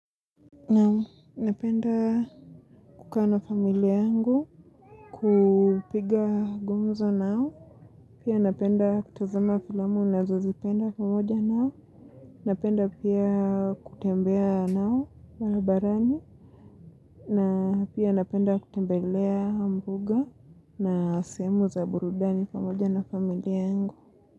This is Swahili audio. Naam, napenda kukaa na familia yangu, kupiga gumzo nao, pia napenda kutazama filamu nazozipenda pamoja nao, napenda pia kutembea nao barabarani, na pia napenda kutembeleambuga na sehemu za burudani pamoja na familia yangu.